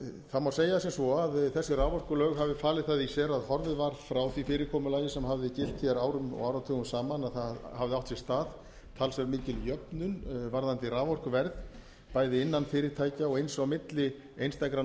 það má segja sem svo að þessi raforkulög hafi falið það í sér að horfið var frá því fyrirkomulagi sem hafði gilt árum og áratugum saman að það hafði átt sér stað talsverð mikil jöfnun varðandi raforkuverð bæði innan fyrirtækja og eins á milli einstakra